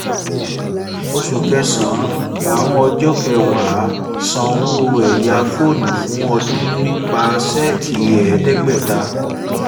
oṣù kẹsàn-án ọjọ́ kẹwàá san owó ẹ̀yá fóònù fún ọdún nípa ṣẹ́ẹ̀kì ẹ̀ẹ́dẹ́gbẹ̀ta